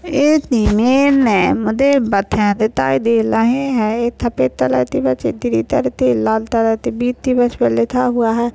इत इमेद में मुधे बथें दिथाई दे लहे है एत सपेद तलर ती बस द्रीन तलर ती एक लाल तलर ती बित ती बस पे लिखा हुआ है।